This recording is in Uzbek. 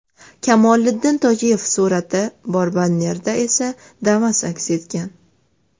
Kamoliddin Tojiyev surati bor bannerda esa Damas aks etgan.